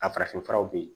A farafinfuraw be yen